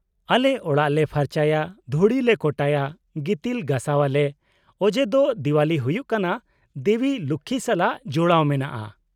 -ᱟᱞᱮ ᱚᱲᱟᱜ ᱞᱮ ᱯᱷᱟᱨᱪᱟᱭᱟ, ᱫᱷᱩᱲᱤᱞᱮ ᱠᱚᱴᱟᱭᱟ, ᱜᱤᱛᱤᱞ ᱜᱟᱥᱟᱣᱟᱞᱮ, ᱚᱡᱮ ᱫᱚ ᱫᱮᱣᱟᱞᱤ ᱦᱩᱭᱩᱜ ᱠᱟᱱᱟ ᱫᱮᱵᱤ ᱞᱚᱠᱠᱷᱤ ᱥᱟᱞᱟᱜ ᱡᱚᱲᱟᱣ ᱢᱮᱱᱟᱜᱼᱟ ᱾